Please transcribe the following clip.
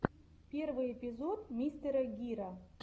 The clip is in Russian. первый эпизод мистера гира